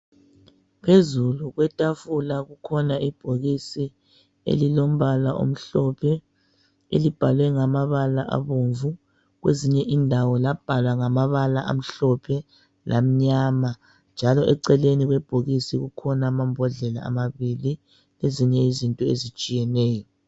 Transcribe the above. Phezulu kwetafula kukhona ibhokisi elilombala omhlophe elibhalwe ngamabala abomvu kwezinye indawo labhalwa ngamabala amhlophe lamnyama njalo eceleni kwebhokisi kukhona amambodlela amabili lezinye izinto ezitshiyeneyo.